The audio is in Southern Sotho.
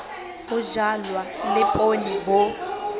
ho jalwa le poone bo